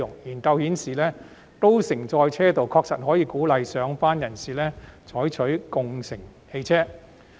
研究顯示，高乘載車道確實可以鼓勵上班人士採用汽車共乘。